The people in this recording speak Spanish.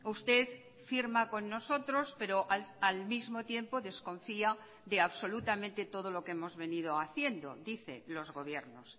usted firma con nosotros pero al mismo tiempo desconfía de absolutamente todo lo que hemos venido haciendo dice los gobiernos